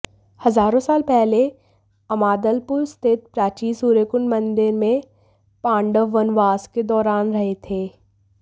हजारों साल पहले अमादलपुर स्थित प्राचीन सूर्यकुंड मंदिर में पांडव वनवास के दौरान रहे थे